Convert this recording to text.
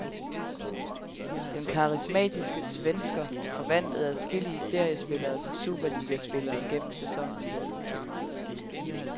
Den karismatiske svensker forvandlede adskillige seriespillere til superligaspillere gennem sæsonen. punktum